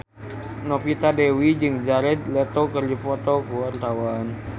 Novita Dewi jeung Jared Leto keur dipoto ku wartawan